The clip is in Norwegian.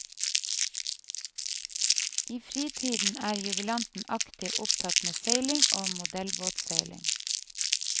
I fritiden er jubilanten aktivt opptatt med seiling og modellbåtseiling.